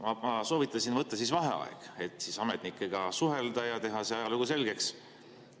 Ma soovitasin võtta siis vaheaja, et ametnikega suhelda ja teha see ajalugu selgeks.